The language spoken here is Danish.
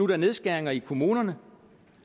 der nedskæringer i kommunerne